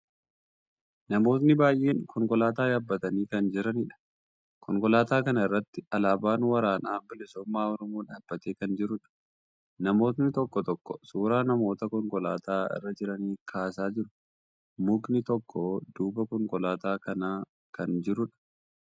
Namootni baay'en konkolaataa yaabbatanii kan jiraniidha. Konkolaataa kana irratti alaaban waraana bilisummaa Oromoo dhaabbatee kan jiruudha. Namootni tokko tokko suuraa namoota konkolaataa irra jiranii kaasaa jiru. Mukni tokko duuba konkolaataa kanaa kan jiruudha.